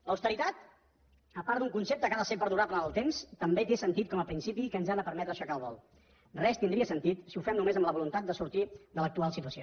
l’austeritat a part d’un concepte que ha de ser perdurable en el temps també té sentit com a principi que ens ha de permetre aixecar el vol res tindria sentit si ho fem només amb la voluntat de sortir de l’actual situació